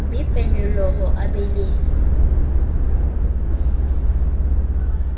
be pelonolo a be le